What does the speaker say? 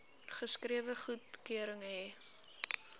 geskrewe goedkeuring hê